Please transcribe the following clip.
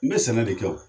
N bɛ sɛnɛ de kɛ o